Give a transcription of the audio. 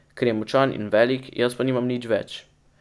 Ker je močan in velik, jaz pa nimam nič več.